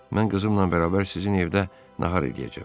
Mən qızımla bərabər sizin evdə nahar eləyəcəm.